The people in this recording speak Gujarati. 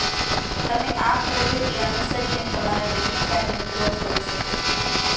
તમે આ પદ્ધતિ અનુસરીને તમારા ડેબિટ કાર્ડને બ્લોક કરી શકો છો